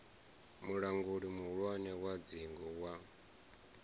mulanguli muhulwane wa dzingu wa